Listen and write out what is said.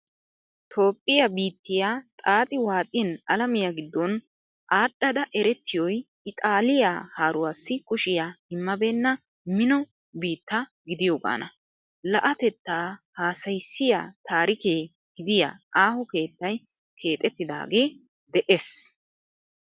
Toophphiya biittiya xaaxi waaxin alamiya giddon aadhdhada erettiyoy ixaaliya haaruwassi kushiya immabenna mino biitta gidiyogaana. La'atettaa hassayissiya taarike gidiya aaho keettay keexettidage dees.